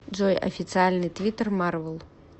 джой официальный твиттер марвел